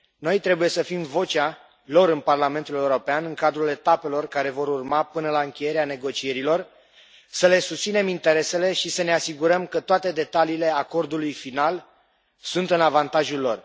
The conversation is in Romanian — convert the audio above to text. Noi trebuie să fim vocea lor în Parlamentul European în cadrul etapelor care vor urma până la încheierea negocierilor, să le susținem interesele și să ne asigurăm că toate detaliile acordului final sunt în avantajul lor.